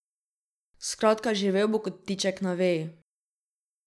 Skratka živel bo kot ptiček na veji.